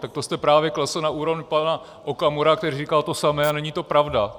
Tak to jste právě klesl na úroveň pana Okamury, který říkal to samé, a není to pravda.